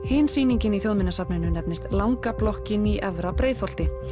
hin sýningin í Þjóðminjasafninu nefnist langa blokkin í Efra Breiðholti